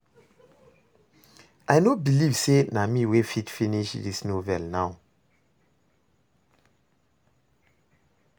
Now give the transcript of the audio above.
I no believe say na me wey fit finish dis novel now